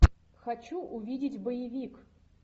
хочу увидеть боевик